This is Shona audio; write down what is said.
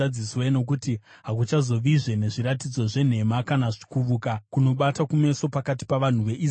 Nokuti hakuchazovazve nezviratidzo zvenhema kana kuvuka kunobata kumeso pakati pavanhu veIsraeri.